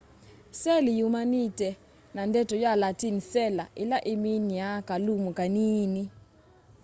seli yumanite na ndeto ya latin cella ila iminiaa kalumu kanini